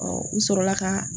u sɔrɔla ka